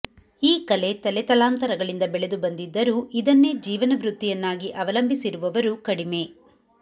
ಈ ಕಲೆ ತಲೆತಲಾಂತರಗಳಿಂದ ಬೆಳೆದು ಬಂದಿದ್ದರೂ ಇದನ್ನೇ ಜೀವನವೃತ್ತಿಯನ್ನಾಗಿ ಅವಲಂಬಿಸಿರುವವರು ಕಡಿಮೆ